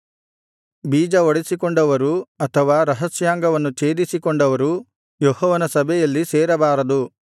ಬೀಜಹೊಡಿಸಿಕೊಂಡವರು ಅಥವಾ ರಹಸ್ಯಾಂಗವನ್ನು ಛೇದಿಸಿಕೊಂಡವರು ಯೆಹೋವನ ಸಭೆಯಲ್ಲಿ ಸೇರಬಾರದು